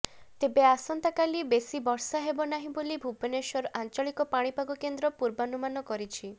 ତେବେ ଆସନ୍ତାକାଲି ବେଶୀ ବର୍ଷା ହେବନାହିଁ ବୋଲି ଭୁବନାଶ୍ୱର ଆଞ୍ଚଳିକ ପାଣିପାଗ କେନ୍ଦ୍ର ପୂର୍ବାନୁମାନ କରିଛି